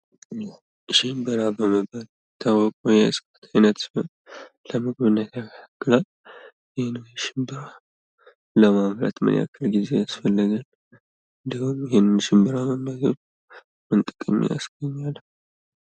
ሽምብራ በመባል የሚታወቀው የዕፅዋት አይነት ሲሆን ለምግብነት ያገለግላል። ይህን ሽምብራ ለማምረት ምን ያህል ጊዜ ያስፈልጋል? እንድሁም ይህንን ሽምብራ መመገብ ምን ጥቅም ያስገኛል?